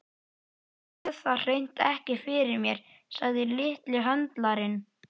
Ég sé það hreint ekki fyrir mér, sagði litli höndlarinn.